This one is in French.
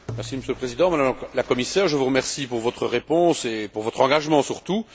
Monsieur le Président, Madame la Commissaire, je vous remercie pour votre réponse et pour votre engagement surtout.